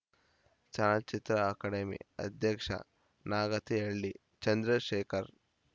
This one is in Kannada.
ಚಲನಚಿತ್ರ ಅಕಾಡೆಮಿ ಅಧ್ಯಕ್ಷ ನಾಗತಿಹಳ್ಳಿ ಚಂದ್ರಶೇಖರ್‌